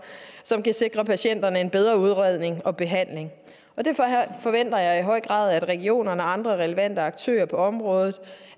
som kan sikre patienterne en bedre udredning og behandling og det forventer jeg i høj grad at regionerne og andre relevante aktører på området